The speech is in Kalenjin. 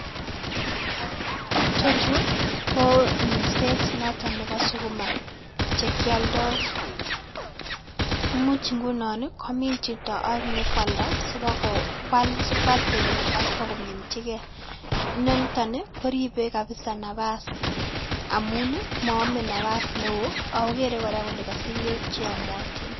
chochu go minset nebo sukuma che kiolndoi. imuch komin chito sikwal temik agipkominjigei .nenitok koribe nabas amun maame nabas neo agogere gora kole kasich bek cheyamatin